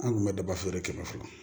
An kun bɛ daba feere kɛmɛ fila